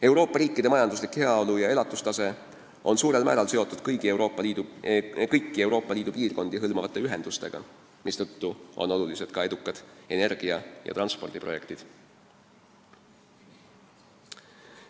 Euroopa riikide majanduslik heaolu ja elatustase on suurel määral seotud kõiki Euroopa Liidu piirkondi hõlmavate ühendustega, mistõttu on olulised ka edukad energia- ja transpordiprojektid.